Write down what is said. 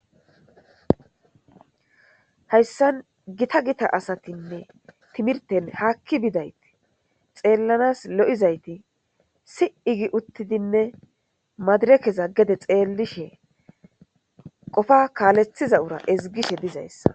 hayssan gita gita asatinne timirten haakki bidayti xeellanas lo7izayti si7i gi uttidinne madirekeza gede xeellishe qofa kaalethiza ura ezgishe dizayssa